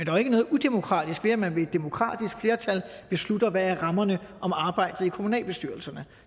jo ikke noget udemokratisk ved at man med et demokratisk flertal beslutter hvad rammerne om arbejdet i kommunalbestyrelserne